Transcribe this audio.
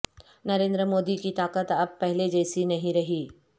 ناریندر مودی کی طاقت اب پہلے جیسی نہیں رہی